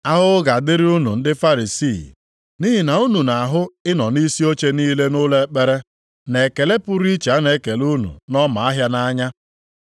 “Ahụhụ ga-adịrị unu ndị Farisii! Nʼihi na unu na-ahụ ịnọ nʼisi oche niile nʼụlọ ekpere na ekele pụrụ iche a na-ekele unu nʼọma ahịa nʼanya.